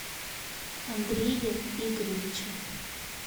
андрее игоревиче